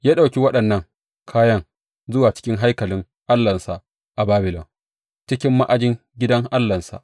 Ya ɗauki waɗannan kayan zuwa cikin haikalin allahnsa a Babilon cikin ma’ajin gidan allahnsa.